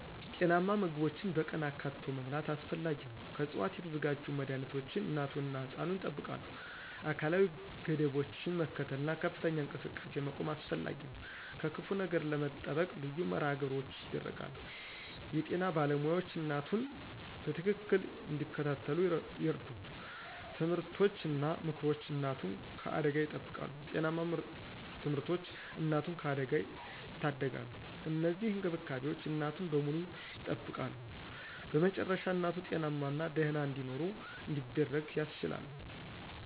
ጤናማ ምግቦችን በቀን አካትቶ መብላት አስፈላጊ ነው። ከዕፅዋት የተዘጋጁ መድኃኒቶች እናቱን እና ሕፃኑን ያጠብቃሉ። አካላዊ ገደቦችን መከተል እና ከፍተኛ እንቅስቃሴ መቆም አስፈላጊ ነው። ከክፉ ነገር ለመጠበቅ ልዩ መርሃ ግብሮች ይደረጋሉ። የጤና ባለሞያዎች እናቱን በትክክል እንዲከታተሉ ይረዱ። ትምህርቶች እና ምክሮች እናቱን ከአደጋ ይጠብቃሉ። ጤናማ ምርቶች እናቱን ከአደጋ ያደጋሉ። እነዚህ እንክብካቤዎች እናቱን በሙሉ ያጠብቃሉ። በመጨረሻ እናቱ ጤናማና ደህና እንዲኖር እንዲደረግ ያስችላሉ።